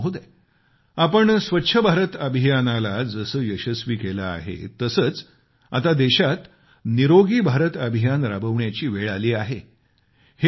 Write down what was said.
पंतप्रधान महोदय आपण स्वच्छ भारत अभियानाला आपण जसे यशस्वी केले आहे तसेच आता देशात निरोगी भारत अभियान राबवण्याची वेळ आली आहे